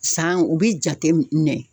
San u bi jate minɛ